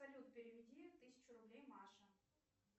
салют переведи тысячу рублей маше